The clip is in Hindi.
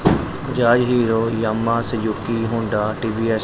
Bajaj Hero Yamaha Suzuki Honda TVS --